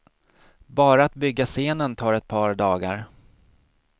Bara att bygga scenen tar ett par dagar.